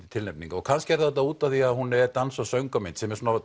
tilnefninga og kannski er það út af því að hún er dans og söngvamynd sem er